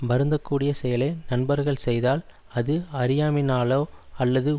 வருந்தக் கூடிய செயலை நண்பர்கள் செய்தால் அது அறியாமையினாலோ அல்லது